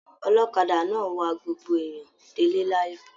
Ọlọ́kadà náà wàá gbogbo èèyàn de'le l'ayọ.